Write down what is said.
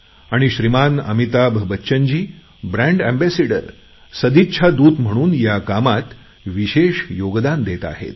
आणि श्रीमान अमिताभ बच्चनजी सदिच्छा दूत म्हणून ह्या कामात विशेष योगदान देत आहेत